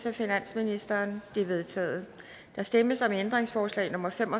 af finansministeren de er vedtaget der stemmes om ændringsforslag nummer fem